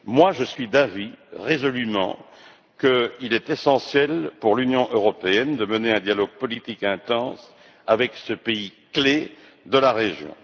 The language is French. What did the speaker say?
Je suis résolument d'avis qu'il est essentiel pour l'Union européenne de mener un dialogue politique intense avec ce pays clé de la région.